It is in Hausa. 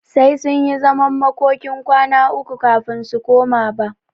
Sai sunyi zaman makokin kwana uku kafin su koma ba.